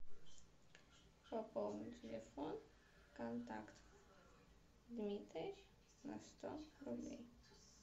пополни телефон контакт дмитрий на сто рублей